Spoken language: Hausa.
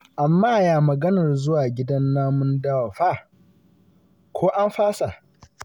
Amma ya maganar zuwa gidan namun dawa fa? Ko an fasa?